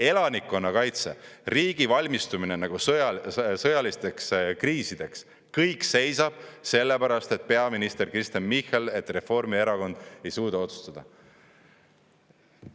Elanikkonnakaitse, riigi valmistumine sõjalisteks kriisideks – kõik seisab sellepärast, et peaminister Kristen Michal, et Reformierakond ei suuda otsustada.